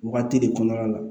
Wagati de kɔnɔna la